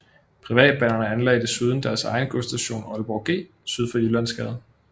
Privatbanerne anlagde desuden deres egen godsstation Aalborg G syd for Jyllandsgade